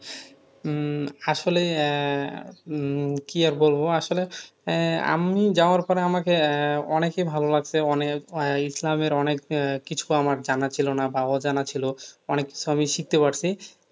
উম আসলে আহ উম কি আর বলব, আসলে আহ আমি যাওয়ার পরে আমাকে আহ অনেকই ভালো লাগছে। অনেক ইসলামের অনেক আহ কিছু আমার জানা ছিল না বা অজানা ছিল, অনেক কিছু আমি শিখতে পারছি।